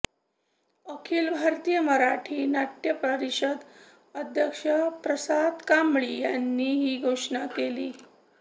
अखिल भारतीय मराठी नाट्य परिषद अध्यक्ष प्रसाद कांबळी यांनी ही घोषणा केली